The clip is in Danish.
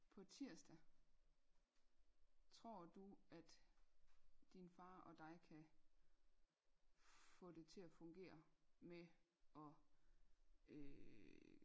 på tirsdag tror du at din far og dig kan få det til at fungere med og øh